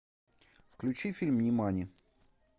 включи фильм нимани